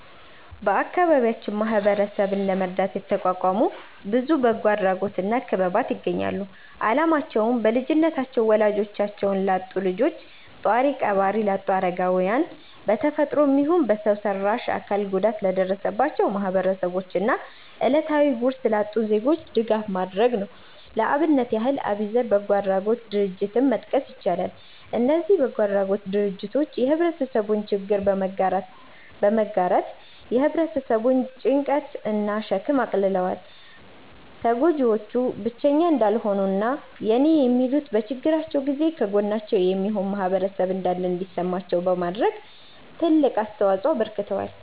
በአከባቢያችን ማህበረሰብን ለመርዳት የተቋቋሙ ብዙ በጎ አድራጎት እና ክበባት ይገኛሉ። አላማቸውም: በልጅነታቸው ወላጆቻቸውን ላጡ ልጆች፣ ጧሪ ቀባሪ ላጡ አረጋውያን፣ በ ተፈጥሮም ይሁን በሰው ሰራሽ አካል ጉዳት ለደረሰባቸው ማህበረሰቦች እና እለታዊ ጉርስ ላጡ ዜጎች ድጋፍ ማድረግ ነው። ለአብነት ያህል አቢዘር በጎ አድራጎት ድርጀትን መጥቀስ ይቻላል። እነዚ በጎ አድራጎት ድርጅቶች የህብረተሰቡን ችግር በመጋራት የ ህብረተሰቡን ጭንቀት እና ሸክም አቅልለዋል። ተጎጂዎቹ ብቸኛ እንዳልሆኑ እና የኔ የሚሉት፤ በችግራቸው ጊዜ ከጎናቸው የሚሆን ማህበረሰብ እንዳለ እንዲሰማቸው በማድረግ ትልቅ አስተዋጽኦ አበርክተዋል።